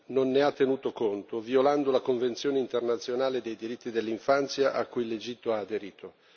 non ne ha tenuto conto, violando la Convenzione internazionale dei diritti dell'infanzia a cui l'Egitto ha aderito.